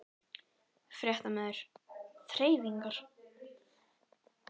Fréttamaður: Þreifingar?